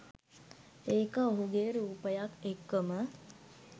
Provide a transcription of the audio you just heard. ඒක ඔහුගේ රූපයත් එක්කම